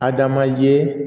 Adama ye